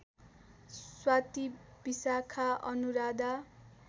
Swati Vishakha Anuradha